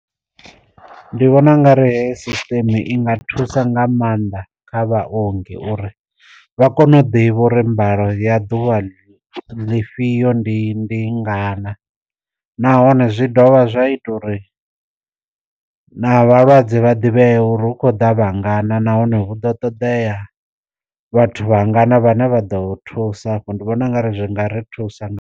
Ndi vhona u nga ri heyi system i nga thusa nga maanḓa kha vha ongi uri vha kone u ḓi vhori mbalo ya ḓuvha ḽifhio ndi ndi ngana na nahone zwi dovha zwa ita uri na vhalwadze vha ḓivhea uri hu khou da vha ngana nahone vhu ḓo ṱoḓea vhathu vha ngana vhane vha ḓo thusa hafho, ndi vhona u nga ri zwi ngari thusa nga.